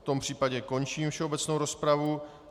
V tom případě končím všeobecnou rozpravu.